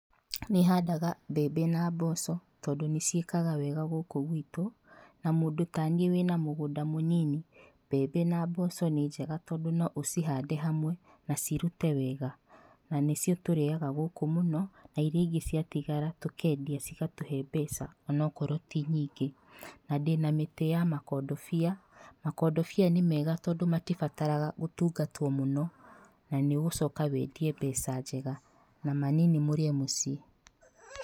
Nĩhandaga mbembe na mboco tondũ nĩcĩikaga wega gũkũ gwitũ na mũndũ ta niĩ wĩna mũgũnda mũnini, mbembe na mboco nĩ njega tondũ noũcihande hamwe na cirute wega na nĩcio tũrĩaga gũkũ mũno na irĩa ingĩ ciatigara tũkendia cigatũhe mbeca ona wakorwo tĩ nyingĩ na ndĩna mĩtĩ ya makondobia. Makondobia nĩ mega tondũ matĩbataraga gũtungatwo mũno, na nĩũgũcoka wendie mbeca njega na manini mũrĩe mũciĩ .